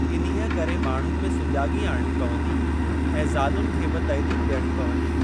इन्हीअ करे माण्हुनि में सुजाॻी आणणी पवंदी ऐं ज़ालुनि खे बि तइलीम डि॒यणी पवंदी।